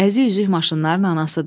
Əzi üzüyü maşınların anasıdır.